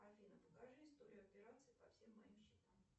афина покажи историю операций по всем моим счетам